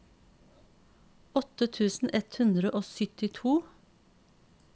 åtte tusen ett hundre og syttito